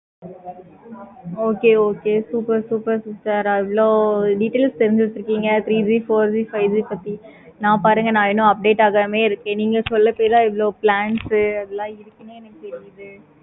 okay okay okay super super இவ்வளோ details தெரிஞ்சி வச்சிருக்கீங்க. four G, five G நா பாருங்க நா இன்னும் updates அங்கமே இருக்கீங்க. இவ்வளோ plans எல்லாம் இருக்கு.